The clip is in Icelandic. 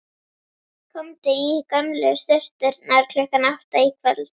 Komdu í gömlu sturturnar klukkan átta í kvöld.